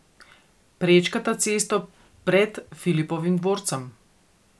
Prečkata cesto pred Filipovim dvorcem.